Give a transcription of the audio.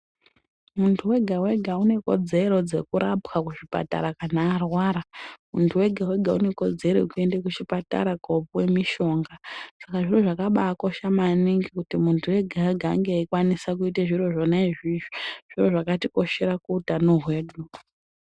Muntu wega wega unekodzero dzekurapwa kuzvipatara kana arwara muntu wega wega unekodzero yekuende kuchipatara kopuwe mishonga saka zviro zvakabaakosha maningi kuti muntu ega ega Ange eikwanisa kuita zviro zvona izvizvi zviro zvakatikoshera kuutano hwedu.